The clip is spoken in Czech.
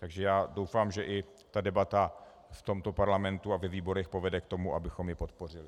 Takže já doufám, že i ta debata v tomto parlamentu a ve výborech povede k tomu, abychom ji podpořili.